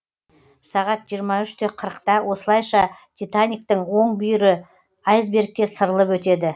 жиырма үш қырытқа осылайша титаниктің оң бүйірі айсбергке сырылып өтеді